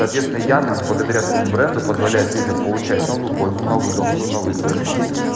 соответственно яндекс благодаря своему бренду позволяет людям получать новую пользу новые удобства новые ценности